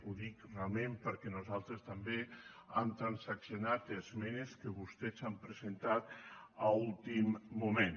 ho dic realment perquè nosaltres també hem transaccionat esmenes que vostès han presentat a últim moment